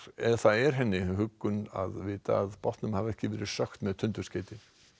það er henni huggun að vita að bátnum hafi ekki verið sökkt með tundurskeyti